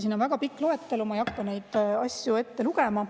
Siin on väga pikk loetelu, ma ei hakka neid asju ette lugema.